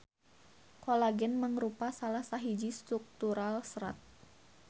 Kolagen mangrupa salah sahiji struktural serat.